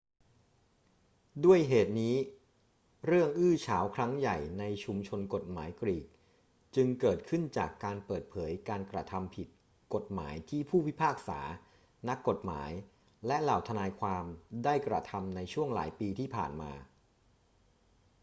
ด้วยเหตุนี้ เรื่องอื้อฉาวครั้งใหญ่ในชุมชนกฎหมายกรีกจึงเกิดขึ้นจากการเปิดเผยการกระทำผิดกฎหมายที่ผู้พิพากษา นักกฎหมาย และเหล่าทนายความได้กระทำในช่วงหลายปีที่ผ่านมา